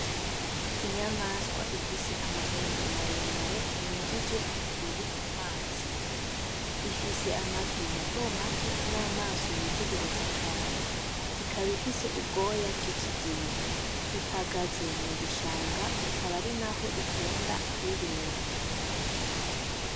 Inyamaswa ifise amahembe maremare yinjije umubiri mu mazi .Ifise amatwi matomato n’amaso yitegereza cane , ikaba ifise ubwoya bw’ikigina . Ihagaze mu bishanga , ikaba ari n’aho ikunda kwibera